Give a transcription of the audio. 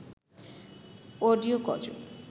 audio গজল